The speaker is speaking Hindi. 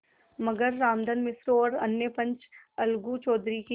मगर रामधन मिश्र और अन्य पंच अलगू चौधरी की